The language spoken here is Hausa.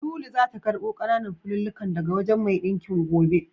Lulu zata karɓo ƙananan fulallikan daga wajen mai ɗinkin gobe.